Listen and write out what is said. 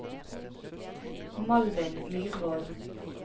Malvin Myrvold